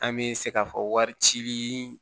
An bɛ se k'a fɔ wari cili